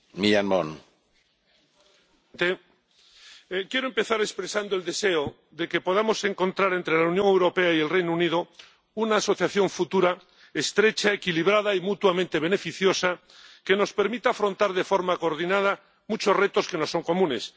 Señor presidente, quiero empezar expresando el deseo de que podamos encontrar entre la Unión Europea y el Reino Unido una asociación futura estrecha, equilibrada y mutuamente beneficiosa que nos permita afrontar de forma coordinada muchos retos que nos son comunes.